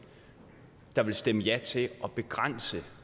der ville stemme ja til at begrænse